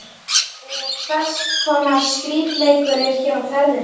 Eða hvers konar skrípaleikur er hér á ferðinni?